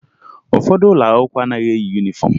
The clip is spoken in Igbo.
Ụfọdụ ụlọ akwụkwọ anaghị eyi yunifọmụ